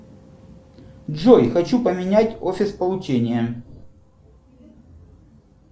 джой хочу поменять офис получения